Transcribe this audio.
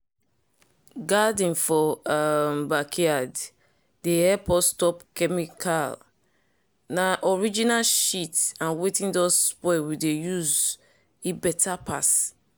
garden for um backyard dey help us stop chemical. na original shit and wetin don spoil we dey use e better pass.